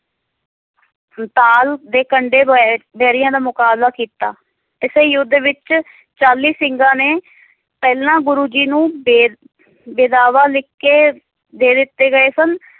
ਤਾਲ ਦੇ ਕੰਡੇ ਬੋਏ ਵੈਰੀਆਂ ਦਾ ਮੁਕਾਬਲਾ ਕੀਤਾ ਇਸੇ ਯੁੱਧ ਵਿਚ ਚਾਲੀ ਸਿੰਘਾਂ ਨੇ ਪਹਿਲਾਂ ਗੁਰੂ ਜੀ ਨੂੰ ਬੇਦ~ ਬੇਦਾਵਾ ਲਿਖ ਕੇ ਦੇ ਦਿੱਤੇ ਗਏ ਸਨ